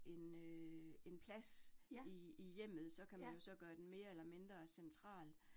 En øh en plads i i hjemmet, så kan man jo så gøre den mere eller mindre central